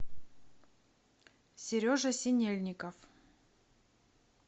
сережа синельников